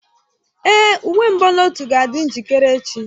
Èé, uwe mbunotu ga-adị njikere echi.